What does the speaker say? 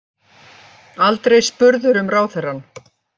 Aldrei spurður um ráðherrann